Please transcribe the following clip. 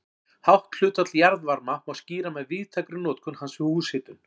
Hátt hlutfall jarðvarma má skýra með víðtækri notkun hans við húshitun.